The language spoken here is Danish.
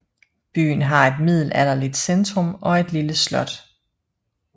Byen har et middelalderlig centrum og et lille slot